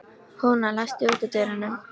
Húna, læstu útidyrunum.